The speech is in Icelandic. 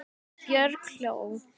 Björg hló.